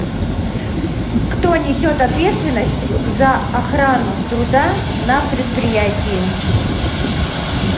кто несет ответственность за охрану труда на предприятии